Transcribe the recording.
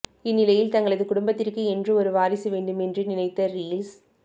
இந்நிலையில் தங்களது குடும்பத்திற்கு என்று ஒரு வாரிசு வேண்டும் என்று நினைத்த ரீஸ்